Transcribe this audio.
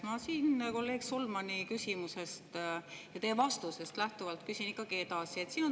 Ma siin kolleeg Solmani küsimusest ja teie vastusest lähtuvalt küsin ikkagi edasi.